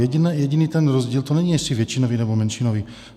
Jediný ten rozdíl - to není, jestli většinový, nebo menšinový.